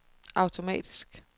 automatisk